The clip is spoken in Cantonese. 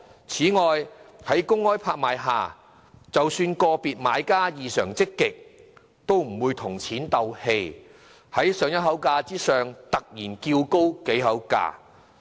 此外，在公開拍賣下，即使個別買家異常積極，也不會跟錢過不去，在上一口價之上突然叫高幾口價。